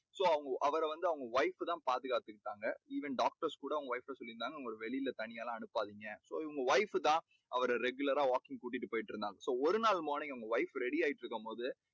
so அவரை வந்து அவங்க wife தான் பாதுகாத்துகிட்டு இருந்தாங்க. இந்த doctors கூட அவங்க wife கிட்ட சொல்லி இருந்தாங்க அவங்கள வெளியில தனியாலாம் அனுப்பாதீங்க. அவங்க wife தான் அவர regular ரா walking கூட்டிட்டு போயிட்டுருந்தாங்க. so ஒருநாள் morning wife ready ஆயிட்டு இருக்கும்போது